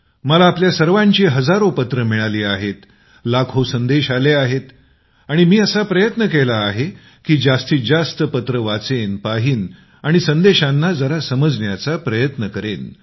मला आपल्या सर्वांची हजारो पत्रं मिळाली आहेत लाखो संदेश आले आहेत आणि मी असा प्रयत्न केला आहे की जास्तीत जास्त पत्रे वाचेन पाहीन आणि संदेशांना जरा समजण्याचा प्रयत्न करावा